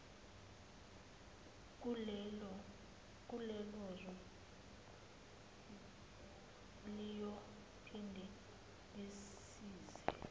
kulelozwe liyophinde lazise